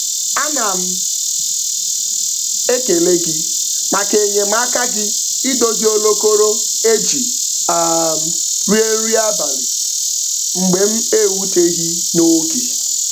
Ana m ekele gị maka enyemaka gị idozi olokoro e ji um rie nri abalị mgbe m eeuteghị n'oge